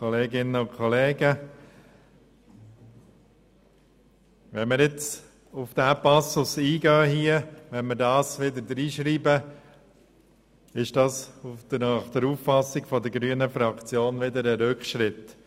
Würden wir diesen Passus ins Gesetz schreiben, wäre dies nach Auffassung der grünen Fraktion ein Rückschritt.